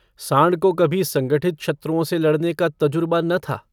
साँड़ को कभी संगठित शत्रुओं से लड़ने का तजुरबा न था।